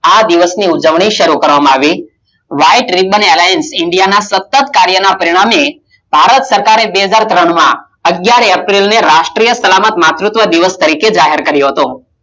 આ દિવસ ના ઉજવણી ની શરૂઆત કરવામાં આવી, White Riban Airlines India ના સતત કાર્યના પરિણામે ભારત સરકારે બે હજારતણ માં અગિયાર એપ્રિલ રાષ્ટિય સલામત માં માતુત્વ દિવસ તરીકે જાહેર કર્યો હતો.